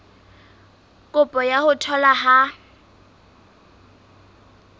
kopo ya ho tholwa ha